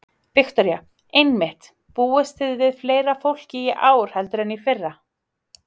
Viktoría: Einmitt, búist þið við fleira fólki í ár heldur en í fyrra?